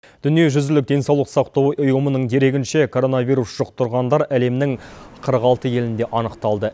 дүниежүзілік денсаулық сақтау ұйымының дерегінше коронавирус жұқтырғандар әлемнің қырық алты елінде анықталды